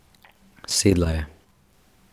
Sedla je.